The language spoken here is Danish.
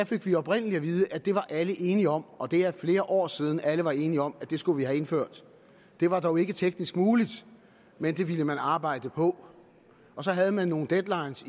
fik vi oprindelig at vide at det var alle enige om og det er flere år siden at alle var enige om at det skulle vi have indført det var dog ikke teknisk muligt men det ville man arbejde på og så havde man nogle deadlines